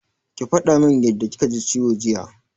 Ki faɗa min yadda kika ji ciwo jiya!